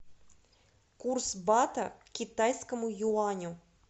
курс бата к китайскому юаню